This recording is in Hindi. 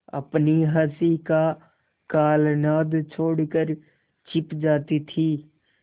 अपनी हँसी का कलनाद छोड़कर छिप जाती थीं